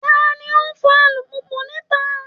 Ta ni ó ń fọ alùpùpù níta?